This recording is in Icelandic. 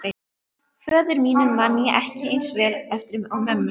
Föður mínum man ég ekki eins vel eftir og mömmu.